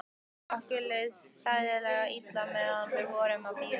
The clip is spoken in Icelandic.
Okkur leið hræðilega illa meðan við vorum að bíða.